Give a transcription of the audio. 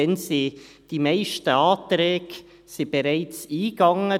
Damals waren die meisten Anträge bereits eingegangen.